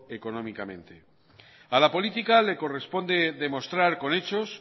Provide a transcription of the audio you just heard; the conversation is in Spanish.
económicamente a la política le corresponde demostrar con hechos